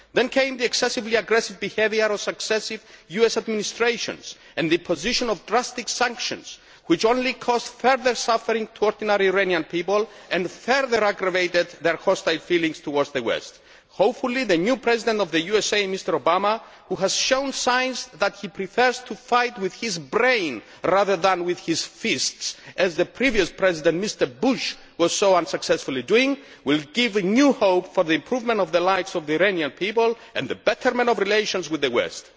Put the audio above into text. Then came the excessively aggressive behaviour of successive US administrations and the position of drastic sanctions, which only caused further suffering to ordinary Iranian people and further aggravated their hostile feelings towards the West. Hopefully the new President of the USA, Mr Obama, who has shown signs that he prefers to fight with his brain rather than with his fists, as the previous President, Mr Bush, so unsuccessfully did, will give new hope for the improvement of the likes of the Iranian people and the betterment of relations with the West.